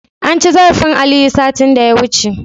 Anci zarafin Aliyu, satin da ya wuce.